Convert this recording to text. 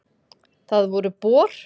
Það voru Bor.